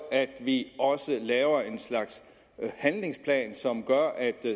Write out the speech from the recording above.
at vi også laver en slags handlingsplan som gør at